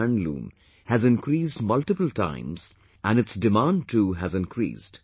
handloom has increased multiple times and its demand too has increased